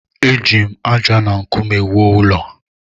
Eji m ájá na nkume wuo ụlọ.